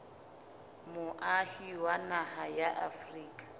moahi wa naha ya afrika